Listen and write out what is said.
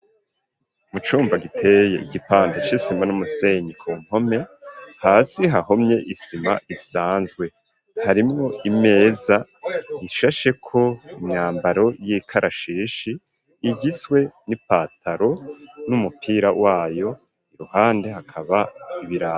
Mu cumba giteye igipande c'isima n'umusenyi ku mpome, hasi hahomye isima isanzwe ,harimwo imeza ishasheko imyambaro y'ikarashishi igizwe n'ipataro n'umupira wayo, iruhande hakaba ibirato.